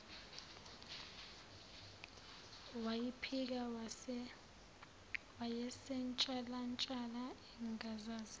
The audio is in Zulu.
wayiphika wayesentshalantsha engazazi